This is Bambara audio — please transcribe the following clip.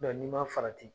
n'i ma farati